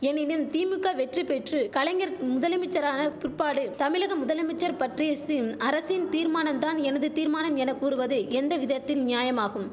எனினும் திமுக்கா வெற்றி பெற்று கலைஞர் முதலமைச்சரான பிற்பாடு தமிழக முதலமைச்சர் பற்றியச்சிம் அரசின் தீர்மானம் தான் எனது தீர்மானம் என கூறுவது எந்த விதத்தில் நியாயமாகும்